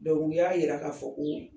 u y'a yira k'a fɔ ko